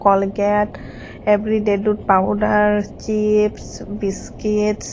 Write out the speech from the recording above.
colgate everyday dut powder chips biscuit.